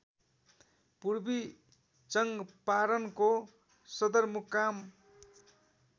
पूर्वी चङ्पारणको सदरमुकाम